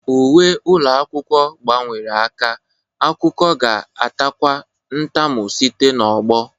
Uwe ụlọ akwụkwọ gbanwere aka, akụkọ ga-atakwu ntamu site n'ọgbọ.